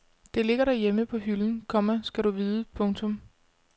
Det ligger derhjemme på hylden, komma skal du vide. punktum